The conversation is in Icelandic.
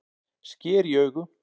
Sker í augu